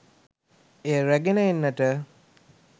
එය රැගෙන එන්නට